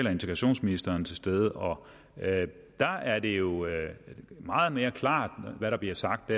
og integrationsministeren til stede og der er det jo meget mere klart hvad der bliver sagt